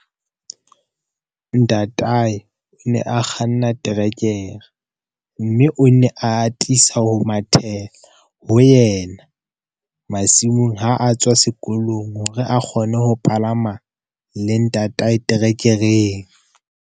Ntatae o ne a kganna terekere, mme o ne a atisa ho mathela ho yena masimong ha a tswa sekolong hore a kgone ho palama le ntatae terekereng.